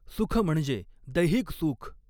सुख म्हणजे दैहिक सुख.